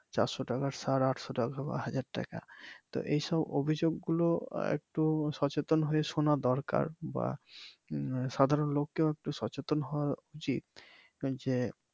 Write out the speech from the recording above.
চারশো টাকার সার আটশো টাকা বা হাজার টাকা তো এইসব অভিযোগ গুলো একটু সচেতন হয়ে শোনা দরকার বা সাধারন লোককেও একটু সচেতন হওয়া উচিত ওই যে